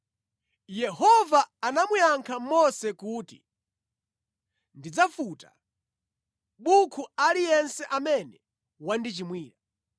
Yehova anamuyankha Mose kuti, “Ndidzafuta mʼbuku aliyense amene wandichimwira.